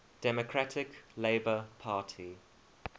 democratic labour party